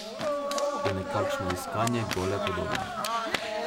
Je nekakšno iskanje gole podobe.